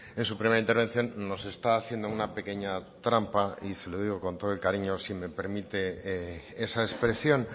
en su primera intervención nos está haciendo una pequeña trampa y se lo digo con todo el cariño si me permite esa expresión